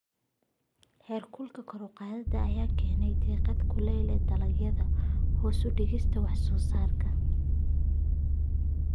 Heerkulka kor u kaca ayaa keena diiqad kulaylka dalagyada, hoos u dhigista wax soo saarka.